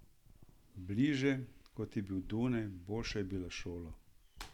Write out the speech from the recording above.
Bliže, kot je bil Dunaj, boljša je bila šola.